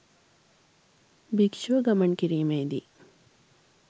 භික්‍ෂුව ගමන් කිරීමේ දී